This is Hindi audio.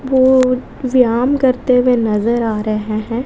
वो व्याम करते हुए नजर आ रहे हैं।